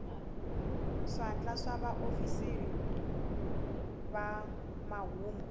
swandla swa vaofisiri va mahungu